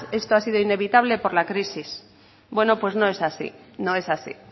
esto ha sido inevitable por la crisis bueno pues no es así no es así